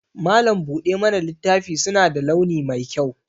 Malam buɗe mana littafi suna da launi mai kyau